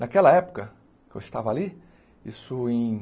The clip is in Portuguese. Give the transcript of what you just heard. Naquela época que eu estava ali, isso em